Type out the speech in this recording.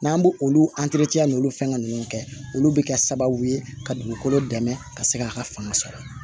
N'an b'o olu n'olu fɛngɛ ninnu kɛ olu bɛ kɛ sababu ye ka dugukolo dɛmɛ ka se k'a ka fanga sɔrɔ